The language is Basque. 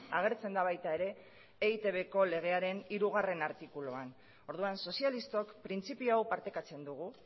agertzen da baita ere eitbko legearen hirugarrena artikuluan orduan sozialistok printzipio hau partekatzen dugu